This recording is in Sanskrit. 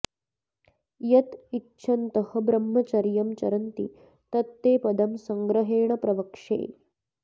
यत् इच्छन्तः ब्रह्मचर्यम् चरन्ति तत् ते पदम् संग्रहेण प्रवक्ष्ये